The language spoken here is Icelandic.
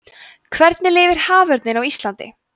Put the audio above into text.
hvernig lifir haförninn á íslandi